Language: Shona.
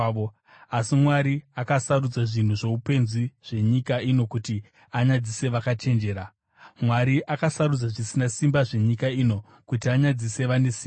Asi Mwari akasarudza zvinhu zvoupenzi zvenyika ino kuti anyadzise vakachenjera; Mwari akasarudza zvisina simba zvenyika ino kuti anyadzise vane simba.